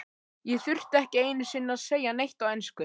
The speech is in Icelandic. Ég þurfti ekki einu sinni að segja neitt á ensku.